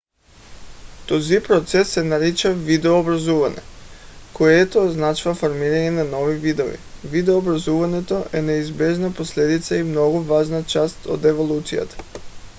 този процес се нарича видообразуване което означава формиране на нови видове. видообразуването е неизбежна последица и много важна част от еволюцията